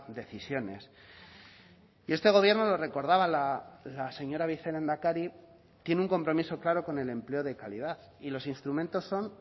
decisiones y este gobierno lo recordaba la señora vicelehendakari tiene un compromiso claro con el empleo de calidad y los instrumentos son